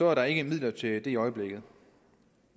er der ikke midler til det i øjeblikket